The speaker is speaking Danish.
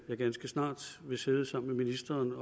jeg ganske snart vil sidde sammen med ministeren